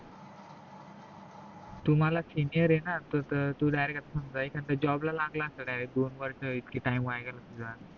तू माझा senior आहे न तर तू direct अस समजा एखाद्या job लागला असता direct दोन वर्ष इतके time वाया गेला तुझा